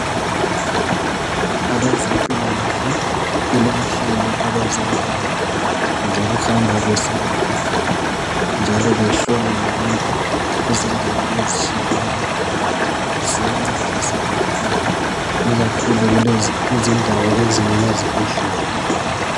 Abezempilakahle kulenhlelo abazenzayo zokuhamba beselapha njalo behlola labantu kuzindawo ezitshiyeneyo ziyancedisa kakhulu ikakhulu kuzindawo ezingela zibhedlela.